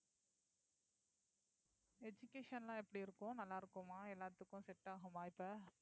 education எல்லாம் எப்படி இருக்கும் நல்லா இருக்குமா எல்லாத்துக்கும் set ஆகுமா இப்ப